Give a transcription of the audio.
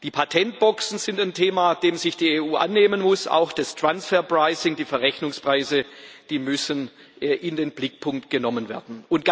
Die Patentboxen sind ein Thema, dessen sich die EU annehmen muss, auch das transfer pricing die Verrechnungspreise müssen in den Blickpunkt genommen werden.